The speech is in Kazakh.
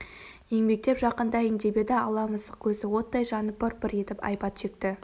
еңбектеп жақындайын деп еді ала мысық көзі оттай жанып пыр-пыр етіп айбат шекті